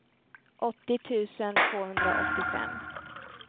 åttio tusen tvåhundraåttiofem